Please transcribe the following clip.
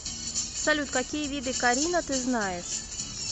салют какие виды карина ты знаешь